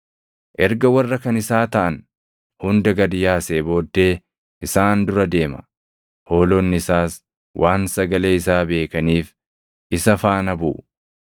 Erga warra kan isaa taʼan hunda gad yaasee booddee isaan dura deema; hoolonni isaas waan sagalee isaa beekaniif isa faana buʼu.